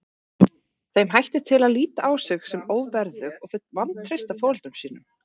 Þeim hættir til að líta á sig sem óverðug og þau vantreysta foreldrum sínum.